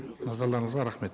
назарларыңызға рахмет